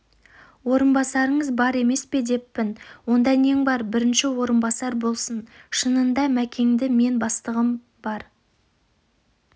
орынбасарыңыз бар емес пе деппін онда нең бар бірінші орынбасар болсын шынында мәкеңді мен бастығым ғана